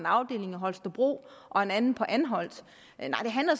afdeling i holstebro og en anden på anholt